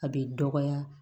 A bɛ dɔgɔya